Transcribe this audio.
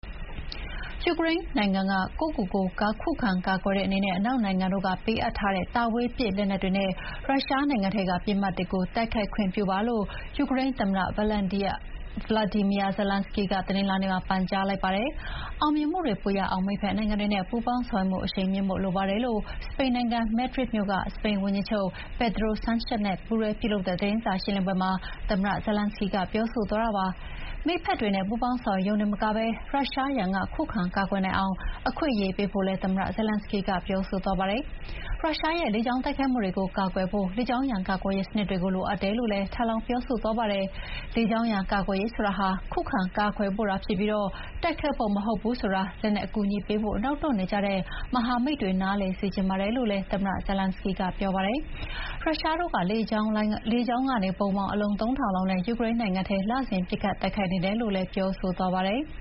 ယူကရိန်းနိုင်ငံကကိုယ့်ကိုကိုယ် ခုခံကာကွယ်တဲ့အနေနဲ့ အနောက်နိုင်ငံတွေကပေးအပ်ထားတဲ့ တာဝေးပစ်လက်နက်တွေနဲ့ ရုရှားနိုင်ငံထဲကပစ်မှတ်တွေကို တိုက်ခိုက်ခွင့်ပြုပါလို့ ယူကရိန်းသမ္မတ Volodymyr Zelenskyy က တနင်္လာနေ့မှာ ပန်ကြားလိုက်ပါတယ်။ အောင်မြင်မှုတွေပိုရအောင် မိတ်ဖက်နိုင်ငံတွေနဲ့ ပူးပေါင်းဆောင်ရွက်မှုအရှိန်မြှင့်ဖို့လိုပါတယ်လို့ စပိန်နိုင်ငံ၊ မက်ဒရစ်မြို့က စပိန်ဝန်ကြီးချုပ် Pedro Sanchez နဲ့ ပူးတွဲပြုလုပ်တဲ့သတင်းစာရှင်းလင်းပွဲမှာ သမ္မတ Zelenskyy ကပြောဆိုသွားတာပါ။ မိတ်ဖက်တွေနဲ့ ပူးပေါင်းဆောင်ရွက်ရုံတင်မကဘဲ ရုရှားရန်က ခုခံကာကွယ်နိုင်အောင် အခွင့်အရေးပေးဖို့လည်း သမ္မတ Zelenskyy ကပြောဆိုသွားတာပါ။ ရုရှားရဲ့ လေကြောင်းတိုက်ခိုက်မှုတွေကို ကာကွယ်ဖို့ လေကြောင်းရန်ကာကွယ်ရေးစနစ်တွေလိုအပ်တယ်လို့လည်း ထပ်လောင်းပြောဆိုသွားပါတယ်။ လေကြောင်းရန်ကာကွယ်ရေးဆိုတာဟာ ခုခံကာကွယ်ဖို့သာဖြစ်ပြီး တိုက်ခိုက်ဖို့မဟုတ်ဘူးဆိုတာ လက်နက်အကူအညီပေးဖို့ နောက်တွန့်နေတဲ့မဟာမိတ်တွေနားလည်စေချင်ပါတယ်လို့လည်း သမ္မတ Zelenskyy ကပြောပါတယ်။ ရုရှားတို့ကလေကြောင်းဗုံး အလုံး ၃,၀၀၀ နဲ့ ယူကရိန်းနိုင်ငံထဲ လစဥ် ပစ်ခတ်တိုက်ခိုက်နေတယ်လို့လည်း ပြောဆိုသွားပါတယ်။